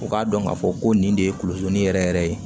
U k'a dɔn k'a fɔ ko nin de ye kolosoni yɛrɛ yɛrɛ ye